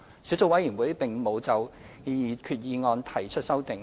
小組委員會並無就擬議決議案提出修訂。